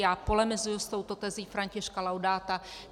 Já polemizuji s touto tezí Františka Laudáta.